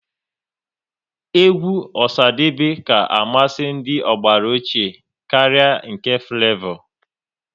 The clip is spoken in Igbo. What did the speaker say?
Egwu Osadebe ka amasị ndị ọgbara ochie karịa nke Flevo